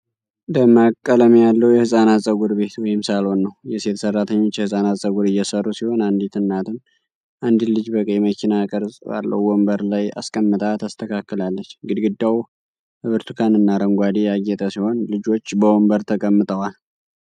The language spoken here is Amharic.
ደማቅ ቀለም ያለው የሕፃናት ፀጉር ቤት (ሳሎን) ነው። የሴት ሠራተኞች የሕፃናትን ፀጉር እየሠሩ ሲሆን፣ አንዲት እናትም አንድን ልጅ በቀይ መኪና ቅርጽ ባለው ወንበር ላይ አስቀምጣ ታስተካክላለች። ግድግዳው በብርቱካንና አረንጓዴ ያጌጠ ሲሆን፣ ልጆች በወንበር ተቀምጠዋል።